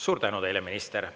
Suur tänu teile, minister!